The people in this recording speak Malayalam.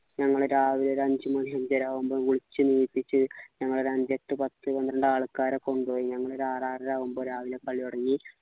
ഞങ്ങളെ രാവിലെ ഒരു അഞ്ചുമണി അഞ്ചര ആവുമ്പൊ വിളിച്ചു ണീപ്പിച്ചു ഞങ്ങളൊരു അഞ്ചെട്ടുപത്ത് പന്ത്രണ്ടു ആൾക്കാരെ കൊണ്ടുപോയി ഞങ്ങളൊരു ആറാറര ആവുമ്പൊ രാവിലെ കളി തുടങ്ങി